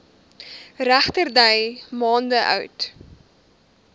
regterdy maande oud